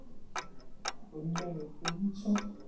Gunnlaugur Guðmundsson.